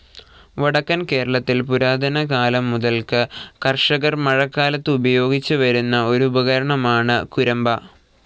വടക്കൻ കേരളത്തിൽ പുരാതന കാലം മുതൽക്ക് കർഷകർ മഴക്കാലത്ത് ഉപയോഗിച്ച് വരുന്ന ഒരുപകരണമാണ് കുരമ്പ.